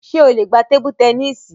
Ṣé o lè gbá tébú tẹníìsì?